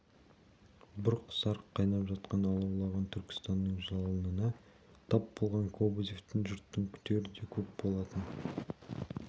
бұрқ-сарқ қайнап жатқан алаулаған түркістанның жалынына тап болған кобозевтен жұрттың күтері де көп болатын